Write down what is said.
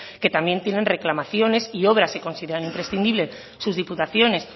que también tienen reclamaciones y obras que consideran imprescindibles sus diputaciones